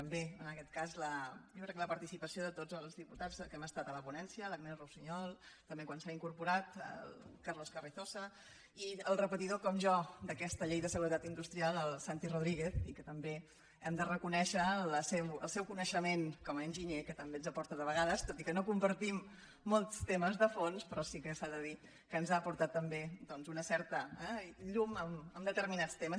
també en aquest cas jo crec que a la participació de tots els diputats que hem estat a la ponència l’agnès russiñol també quan s’ha incorporat el carlos carrizosa i el repetidor com jo d’aquesta llei de seguretat industrial el santi rodríguez que també li hem de reconèixer el seu coneixement com a enginyer que també ens aporta de vegades tot i que no hi compartim molts temes de fons però sí que s’ha de dir que ens ha aportat també doncs una certa llum en determinats temes